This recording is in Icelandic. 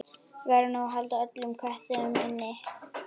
Verður nú að halda öllum köttum inni?